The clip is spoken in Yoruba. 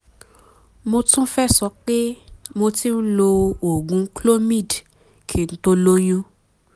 mo tún fẹ́ sọ pé mo ti ń lo oògùn clomid kí n tó lóyún